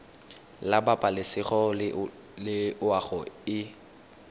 la pabalesego le loago e